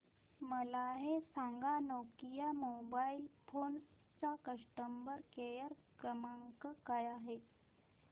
मला हे सांग नोकिया मोबाईल फोन्स चा कस्टमर केअर क्रमांक काय आहे